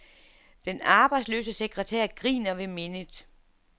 Den arbejdsløse sekretær griner ved mindet.